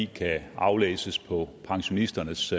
kan aflæses på pensionisternes